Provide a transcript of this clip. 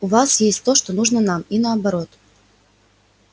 у вас есть то что нужно нам и наоборот